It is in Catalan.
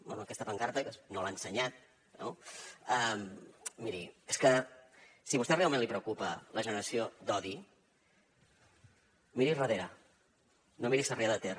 bé a aquesta pancarta que no l’ha ensenyat no miri és que si a vostè realment li preocupa la generació d’odi miri a darrere no miri a sarrià de ter